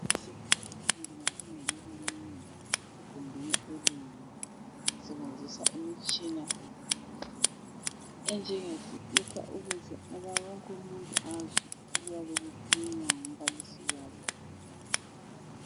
Sithi abafundi bafunda bebanengi egumbeni elinye usebenzisa imitshina enjengesipika ukuze wonkumuntu azwe okuyabe kukhulunywa ngumbalisi wabo